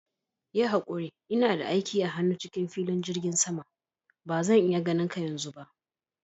Yi hakuri, ina da aiki a hannu cikin filin jigin sama, bazan iya ganinka yanzu.